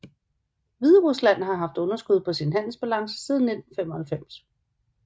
Hviderusland har haft underskud på sin handelsbalance siden 1995